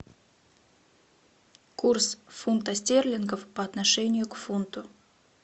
курс фунта стерлингов по отношению к фунту